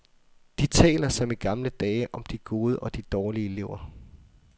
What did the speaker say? De taler som i gamle dage om de gode og de dårlige elever.